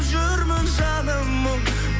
жүрмін жаным мұң